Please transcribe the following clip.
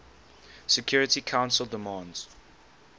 security council demands